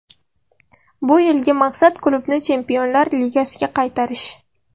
Bu yilgi maqsad klubni Chempionlar ligasiga qaytarish.